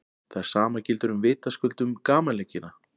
það sama gildir vitaskuld um gamanleikina